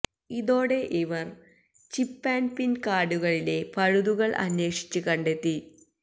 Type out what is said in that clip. ഇതോടെ ഇവർ chip and PIN കാർഡുകളിലെ പഴുതുകൾ അന്വേഷിച്ച് കണ്ടെത്തി